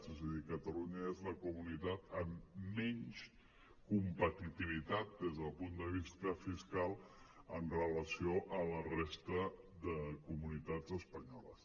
és a dir catalunya és la comunitat amb menys competitivitat des del punt de vista fiscal amb relació a la resta de comunitats espanyoles